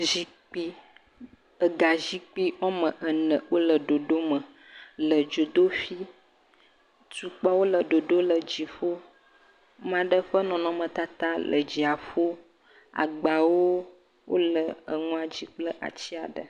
Zikpui. Ega zikpui wɔme ene wole ɖoɖo me le dzodoƒee. Tukpawo le ɖoɖo le dziƒo. ame aɖe ƒe nɔnɔmetata le dziaƒo. agbawo wole enua dzi kple ati aɖe.